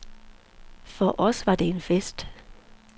For os var det en fest.